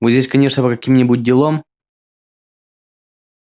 вы здесь конечно по каким-нибудь делам